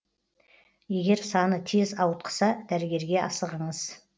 егер саны тез ауытқыса дәрігерге асығыңыз